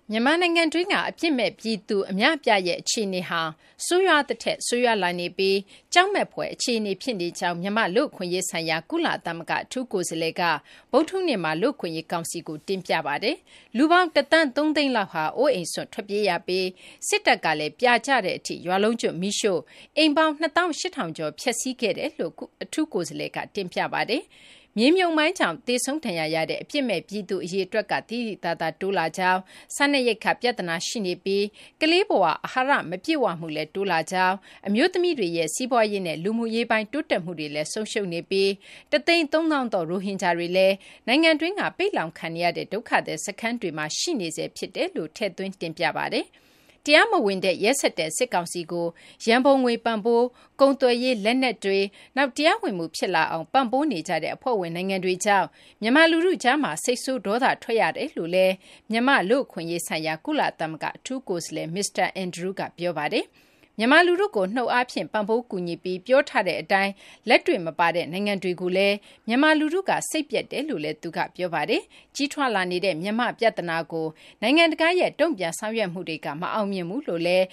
မြန်မာနိုင်ငံတွင်းက အပြစ်မဲ့ ပြည်သူအများအပြားရဲ့ အခြေအနေဟာ ဆိုးရွားသထက် ဆိုးရွားလာနေပြီး ကြောက်မက်ဖွယ် အခြေအနေ ဖြစ်နေကြောင်း မြန်မာ့ လူ့အခွင့်အရေးဆိုင်ရာ ကုလသမဂ္ဂအထူးကိုယ်စားလှယ် Tom Andrews က ဗုဒ္ဓဟူးနေ့မှာ လူ့အခွင့်ရေး ကောင်စီကို တင်ပြခဲ့ပါတယ်။ လူပေါင်း ၁ သန်း ၃ သိန်းလောက်ဟာ အိုးအိမ်စွန့်ခွာ ထွက်ပြေးနေရပြီး စစ်တပ်ကလည်း ပြာကျတဲ့အထိ ရွာလုံးကျွတ် မီးရှို့နေပြီး အိမ်ပေါင်း ၂၈,၀၀၀ ကျော် ဖျက်စီးခဲ့ပြီးဖြစ်ကြောင်းလည်း အထူးကိုယ်စားလှယ်က တင်ပြခဲ့ပါတယ်။ မြေမြှုပ်မိုင်းကြောင့် သေဆုံး ဒဏ်ရာရတဲ့ အပြစ်မဲ့ ပြည်သူ အရေအတွက်ကလည်း သိသိသာသာ တိုးလာကြောင်း၊ စားနပ်ရိက္ခာ ပြဿနာ ရှိနေပြီး ကလေးဘ၀ အဟာရ မပြည့်ဝမှုလည်း တိုးလာကြောင်း၊ အမျိုးသမီးတွေရဲ့ စီးပွားရေးနဲ့ လူမှုရေးပိုင်း တိုးတက်မှုလည်း ဆုံးရှုံးနေပြီး ၁၃၀,၀၀၀ သော ရိုဟင်ဂျာတွေလည်း နိုင်ငံတွင်းက ပိတ်လှောင်ခံနေရတဲ့ ဒုက္ခသည်စခန်းတွေမှာ နေထိုင်နေရဆဲ ဖြစ်တယ်လို့လည်း ထည့်သွင်း တင်ပြသွားပါတယ်။ တရားမဝင်တဲ့ ရက်စက်တဲ့ စစ်ကောင်စီကို ရန်ပုံငွေပံ့ပိုး၊ ကုန်သွယ်ရေး၊ လက်နက်တွေ၊ နောက် တရားဝင်မှု ဖြစ်လာအောင် ပံ့ပိုးနေကြတဲ့ အဖွဲ့ဝင် နိုင်ငံတွေကြောင့် မြန်မာလူထုကြားမှာ စိတ်ဆိုး ဒေါသ ထွက်ကြရတယ်လို့လည်း မြန်မာ့ လူ့အခွင့်အရေးဆိုင်ရာ ကုလသမဂ္ဂ အထူးကိုယ်စားလှယ် မစ္စတာ Andrews က ပြောပါတယ်။ မြန်မာလူထုကို နှုတ်အားဖြင့် ပံ့ပိုးကူညီပြီး ပြောထားတဲ့အတိုင်း လက်တွေ့မပါတဲ့ နိုင်ငံတွေကိုလည်း မြန်မာလူထုက စိတ်ပျက်တယ်လို့လည်း သူက ပြောပါတယ်။ ကြီးထွားလာနေတဲ့ မြန်မာ့ပြဿနာကို နိုင်ငံတကာရဲ့ တုံ့ပြန်ဆောင်ရွက်မှုတွေက မအောင်မြင်ဘူးလို့လည်း